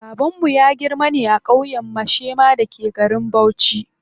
Babanmu ya girma ne a ƙauyen Mashema da ke garin Bauchi.